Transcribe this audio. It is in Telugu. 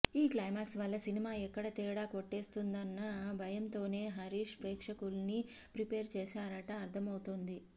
ఈ క్లైమాక్స్ వల్ల సినిమా ఎక్కడ తేడా కొట్టేస్తుందన్న భయంతోనే హరీష్ ప్రేక్షకుల్ని ప్రిపేర్ చేశాడని అర్థమవుతోంది